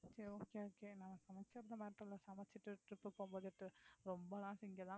சரி okay okay நம்ப சமைக்கிறது matter இல்ல சமைச்சுட்டு trip ரொம்பலாம் திங்கலா